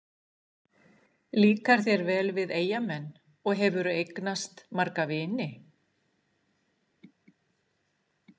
Líkar þér vel við Eyjamenn og hefurðu eignast marga vini?